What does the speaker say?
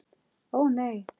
Ó, nei!